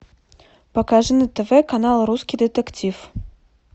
покажи на тв канал русский детектив